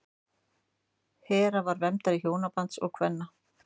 hera var verndari hjónabands og kvenna